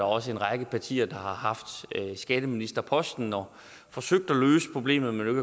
også en række partier der har haft skatteministerposten og forsøgt at løse problemet men jo